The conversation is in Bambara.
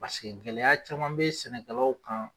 Paseke gɛlɛya caman bɛ sɛnɛkɛlaw kan